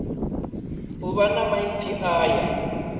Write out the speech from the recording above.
u vha na maipfi aya